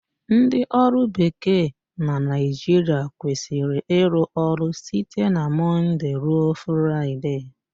Ndị ọrụ bekee na Naịjirịa kwesịrị ịrụ ọrụ site na Mọndee ruo Fraịdee